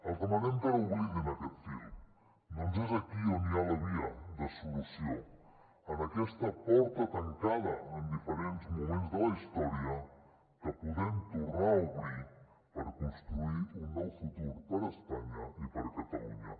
els demanem que no oblidin aquest fil ja que és aquí on hi ha la via de solució en aquesta porta tancada en diferents moments de la història que podem tornar a obrir per construir un nou futur per a espanya i per a catalunya